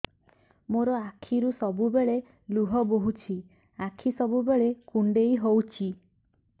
ମୋର ଆଖିରୁ ସବୁବେଳେ ଲୁହ ବୋହୁଛି ଆଖି ସବୁବେଳେ କୁଣ୍ଡେଇ ହଉଚି